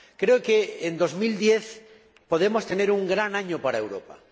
Creo que en 2010 podemos tener un gran año para Europa.